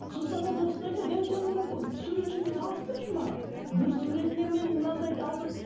сосын ана досына айтады әй сен анау суретшіні таныстыршы маған бір суретіне мен мынандайды алдым